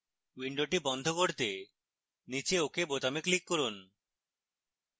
window বন্ধ করতে নীচে ok বোতামে click করুন